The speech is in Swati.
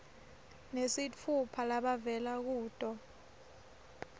nesitfupha labavela kuto